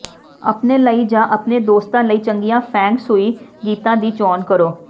ਆਪਣੇ ਲਈ ਜਾਂ ਆਪਣੇ ਦੋਸਤ ਲਈ ਚੰਗੀਆਂ ਫੇਂਗ ਸ਼ੂਈ ਗੀਤਾਂ ਦੀ ਚੋਣ ਕਰੋ